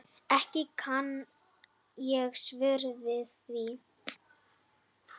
Ekki kann ég svör við því.